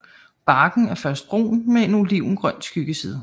Barken er først brun med en olivengrøn skyggeside